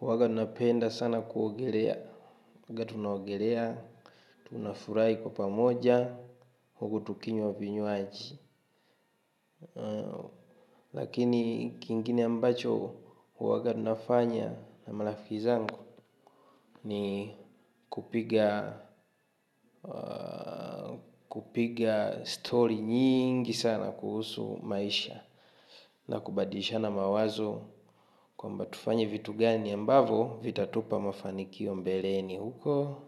huwaga tunapenda sana kuogelea. Huwaga tunaogelea, tunafurahi kwa pamoja huku tukinywa vinywaji. Lakini kingine ambacho huwaga tunafanya na marafiki zangu. Ni kupiga story nyingi sana kuhusu maisha. Na kubadilishana mawazo kwamba tufanye vitu gani ambavyo vitatupa mafanikio mbeleni huko.